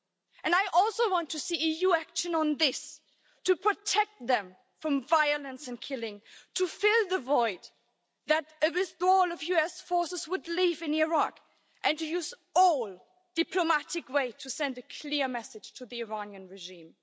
And I also want to see EU action on this to protect them from violence and killing, to fill the void that a withdrawal of US forces would leave in Iraq and to use all diplomatic ways to send a clear message to the Iranian regime.